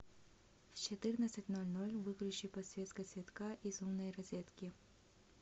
в четырнадцать ноль ноль выключи подсветка цветка из умной розетки